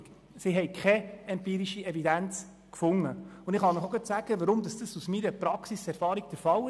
Es fand sich keine empirische Evidenz, und ich kann Ihnen aus meiner Praxiserfahrung sagen, weshalb.